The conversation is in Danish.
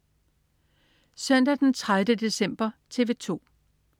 Søndag den 30. december - TV 2: